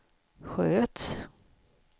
sköts